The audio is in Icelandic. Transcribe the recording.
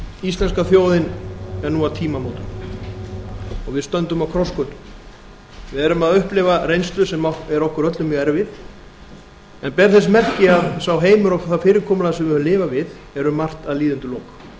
íslenska þjóðin er nú á tímamótum og við stöndum á krossgötum við erum að upplifa reynslu sem er okkur öllum mjög erfið en ber þess merki að sá heimur og það fyrirkomulag sem við höfum lifað við er um margt að líða undir lok